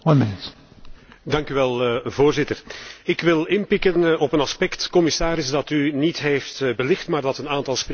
Ik wil inpikken op een aspect, commissaris, dat u niet heeft belicht, maar dat een aantal sprekers vóór mij wel al even heeft aangeraakt.